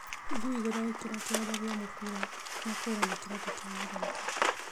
Ngui gũtharĩkĩra kĩwanja gĩa mũbira na kũra na kĩratu kĩa mũthaki